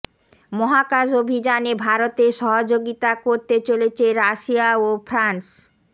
মহাকাশ অভিযানে ভারতের সহযোগিতা করতে চলেছে রাশিয়া ও ফ্রান্স